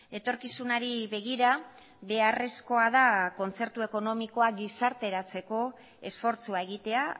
etorkizunari begira beharrezkoa da kontzertu ekonomikoa gizarteratzeko esfortzua egitea